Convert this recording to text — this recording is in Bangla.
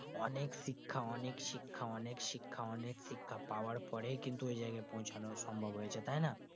অনেক শিক্ষা অনেক শিক্ষা অনেক শিক্ষা অনেক শিক্ষা পাওয়ার পরে কিন্তু ওইজায়গায় পৌঁছানো সম্ভব হয়েছে তাই না